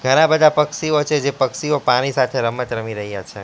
ઘણા બધા પક્ષીઓ છે જે પક્ષીઓ પાણી સાથે રમત રમી રહ્યા છે.